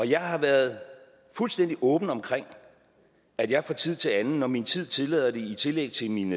jeg har været fuldstændig åben omkring at jeg fra tid til anden når min tid tillader det i tillæg til min